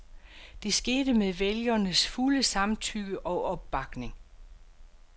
Det skete med vælgernes fulde samtykke og opbakning.